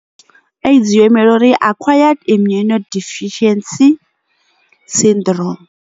AIDS yo imela uri acquired immune deficiency syndrome.